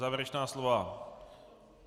Závěrečná slova?